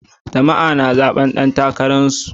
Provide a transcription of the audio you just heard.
Jama'a suna zaɓi dan takararsu.